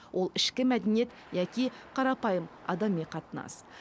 ол ішкі мәдениет яки қарапайым адами қатынас